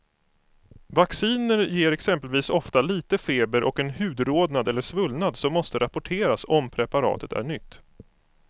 Vacciner ger exempelvis ofta lite feber och en hudrodnad eller svullnad som måste rapporteras om preparatet är nytt.